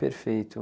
Perfeito.